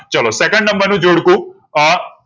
ચાલો second નંબર નું જોડકું